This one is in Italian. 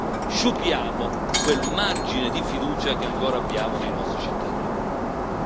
Se non facciamo questo, noi sciupiamo quel margine di fiducia che ancora abbiamo nei nostri cittadini.